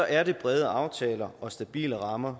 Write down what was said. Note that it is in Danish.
er det brede aftaler og stabile rammer